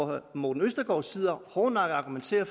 herre morten østergaard sidder og argumenterer